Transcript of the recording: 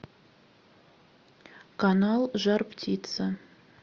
канал жар птица